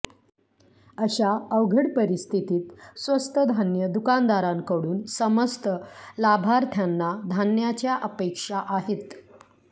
अशा अवघड परिस्थितीत स्वस्त धान्य दुकानदारांकडून समस्त लाभार्थ्यांना धान्याच्या अपेक्षा आहेत